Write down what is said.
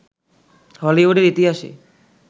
হলিউডের ইতিহাসে